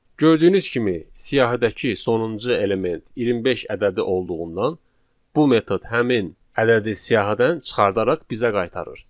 Gördüyünüz kimi, siyahıdakı sonuncu element 25 ədədi olduğundan bu metod həmin ədədi siyahıdan çıxardaraq bizə qaytarır.